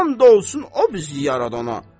And olsun o bizi yaradana.